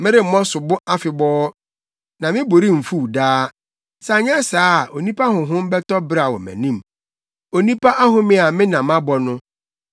Meremmɔ sobo afebɔɔ, na me bo remfuw daa, sɛ anyɛ saa a onipa honhom bɛtɔ beraw wɔ mʼanim, onipa ahome a me na mabɔ no.